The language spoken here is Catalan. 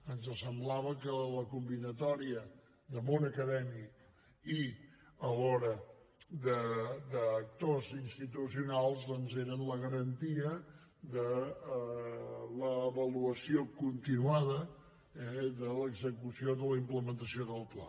ens semblava que la combinatòria de món acadèmic i alhora d’actors institucionals doncs era la garantia de l’avaluació continuada eh de l’execució de la implementació del pla